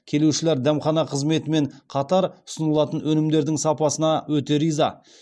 келушілер дәмхана қызметімен қатар ұсынылатын өнімдердің сапасына өте риза